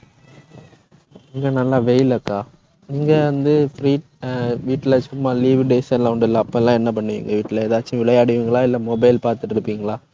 வெயில் அக்கா. நீங்க வந்து free அஹ் வீட்டுல சும்மா leave days எல்லாம் உண்டல்ல. அப்பல்லாம் என்ன பண்ணுவீங்க வீட்ல எதாச்சும் விளையாடுவீங்களா? இல்ல mobile பாத்துட்டு இருப்பீங்களா